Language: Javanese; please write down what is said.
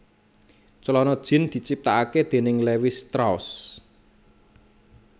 Clana jean diciptakake déning Levis Strauss